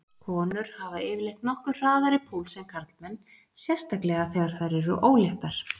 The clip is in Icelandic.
Konur hafa yfirleitt nokkuð hraðari púls en karlmenn, sérstaklega þegar þær eru óléttar.